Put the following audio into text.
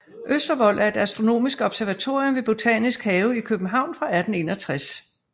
Østervold er et astronomisk observatorium ved Botanisk Have i København fra 1861